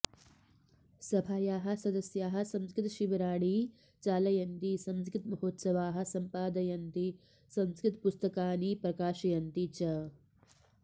सभायाः सदस्याः संस्कृतशिबिराणि चालयन्ति संस्कृतमहोत्सवाः सम्पादयन्ति संस्कृतपुस्तकानि प्रकाशयन्ति च